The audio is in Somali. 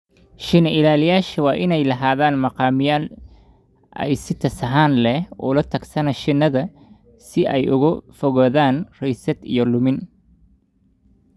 Shinni-ilaaliyeyaasha waa inay lahadaan maqaamiyaan ay si tsahaaan leh ula taksana shinnida si ay uga fogaadaan rysad iyo lumin.